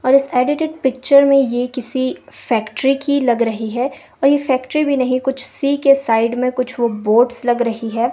और इस edited picture में ये किसी फैक्ट्री की लग रही है और ये फैक्ट्री भी नहीं कुछ सी के साइड मै कुछ बोर्ड्स लग रही है।